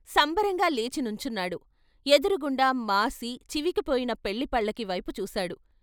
సంబరంగా లేచి నుంచున్నాడు ఎదురుగుండా మాసి, చివికి పోయిన పెళ్ళిపల్లకీ వైపు చూశాడు.